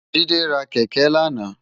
Jide rá kèkè làná